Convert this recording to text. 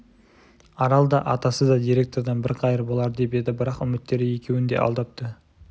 арал да атасы да директордан бір қайыр болар деп еді бірақ үміттері екеуін де алдапты